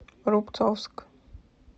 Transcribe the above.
рубцовск